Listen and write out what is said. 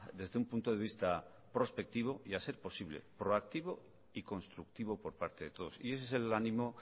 desde un punto de vista prospectivo y a ser posible proactivo y constructivo por parte de todos y ese es el ánimo